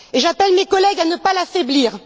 Et j'appelle mes collègues à ne pas l'affaiblir.